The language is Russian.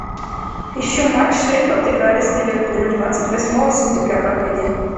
ищу матч шеффилд играли с ливерпулем двадцать восьмого сентября проходил